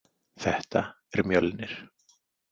Þetta er Mjölnir.